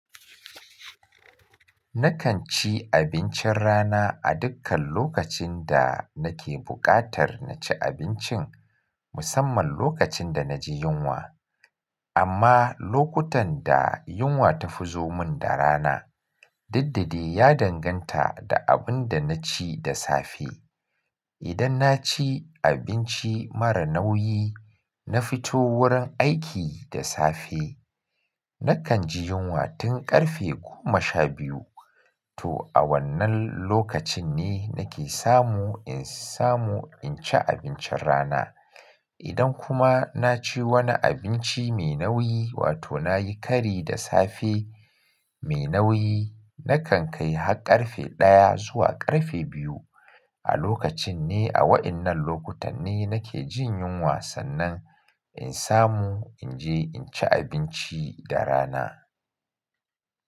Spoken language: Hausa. Nakan ci abincin rana a dukkan lokacin da nake buƙatar na ci abincin, musamman lokacin da na ji yunwa. Amma lokutan da yunwa ta fi zo mun da rana, didde ya danganta da abin da na ci da safe. Idan na ci abinci mara nauyi, na fito wurin aiki da safe, nakan ji yunwa tun ƙarfe goma sha biyu. To a wannan lokacin ne nake samu in samu in ci abincin rana. Idan kuma na ci wani abinci mai nauyi, wato na yi kari da safe mai nauyi, nakan kai har ƙarfe ɗaya zuwa ƙarfe biyu. A lokacin ne a waɗannan lokutan ne nake jin yunwa sannan in samu in je in ci abinci da rana.